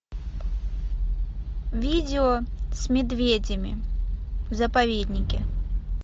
видео с медведями в заповеднике